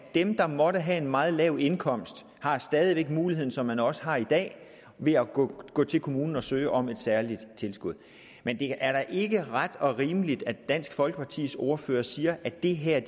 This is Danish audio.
dem der måtte have en meget lav indkomst stadig væk har muligheden som man også har i dag ved at gå til kommunen og søge om et særligt tilskud men det er da ikke ret og rimeligt at dansk folkepartis ordfører siger at det her